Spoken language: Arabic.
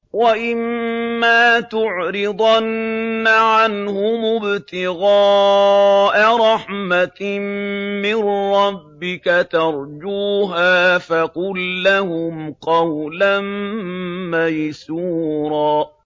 وَإِمَّا تُعْرِضَنَّ عَنْهُمُ ابْتِغَاءَ رَحْمَةٍ مِّن رَّبِّكَ تَرْجُوهَا فَقُل لَّهُمْ قَوْلًا مَّيْسُورًا